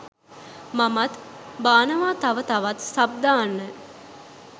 මමත් බානව තව තවත් සබ් දාන්න